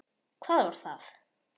Hvað var það?